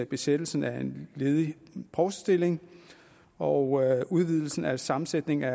besættelsen af en ledig provstestilling og udvidelsen af sammensætningen af